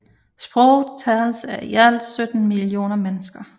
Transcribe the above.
Sproget tales af i alt 17 millioner mennesker